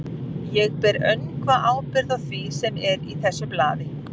Ég ber öngva ábyrgð á því, sem er í þessu blaði.